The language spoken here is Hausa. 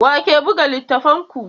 Wa ke buga littattafanku?